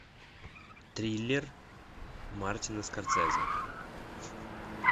триллер мартина скорсезе